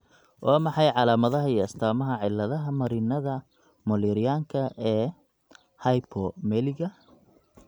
Waa maxay calaamadaha iyo astaamaha cilladaha marinnada mullerianka ee Hypomeliga?